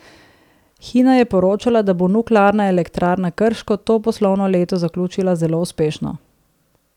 Hina je poročala, da bo Nuklearna elektrarna Krško to poslovno leto zaključila zelo uspešno.